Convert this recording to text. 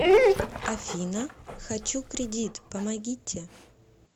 афина хочу кредит помогите